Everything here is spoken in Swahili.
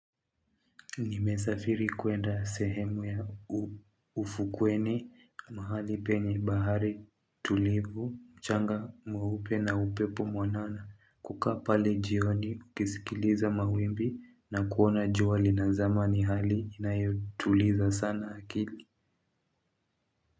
Nimesafiri kwenda sehemu ya ufukweni mahali penye bahari tulivu, mchanga mweupe na upepo mwanana kukaa pale jioni ukisikiliza mawimbi na kuona jua linazama ni hali inayotuliza sana akili.